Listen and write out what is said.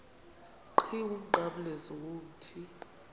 qhiwu umnqamlezo womthi